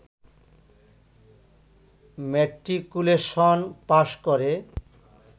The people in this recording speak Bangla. ম্যাট্রিকুলেশন পাশ করে